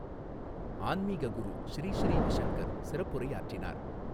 ஆன்மீக குரு ஶ்ரீ ஶ்ரீவிசங்கர் சிறப்புரையாற்றினார்.